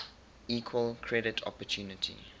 equal credit opportunity